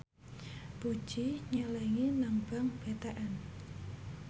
Puji nyelengi nang bank BTN